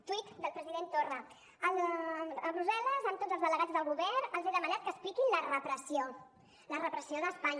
tuit del president torra a brussel·les amb tots els delegats del govern els he demanat que expliquin la repressió la repressió d’espanya